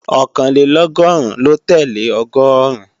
Ọ̀kànlélọ́gọ́rùn ló tẹ́lẹ̀ Ọgọ́ọ̀rún